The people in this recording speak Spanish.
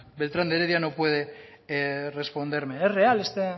beltrán de heredia no puede responderme es real este